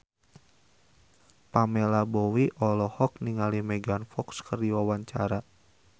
Pamela Bowie olohok ningali Megan Fox keur diwawancara